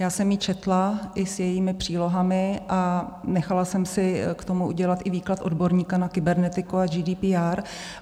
Já jsem ji četla i s jejími přílohami a nechala jsem si k tomu udělat i výklad odborníka na kybernetiku a GDPR.